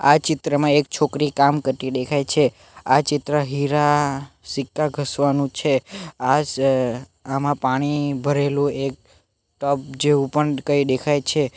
આ ચિત્રમાં એક છોકરી કામ કરતી દેખાય છે આ ચિત્ર હીરા સિક્કા ઘસવાનું છે આજ આમાં પાણી ભરેલું એક ટપ જેવું પણ કંઈ દેખાય છે